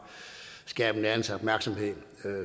skabe en anelse opmærksomhed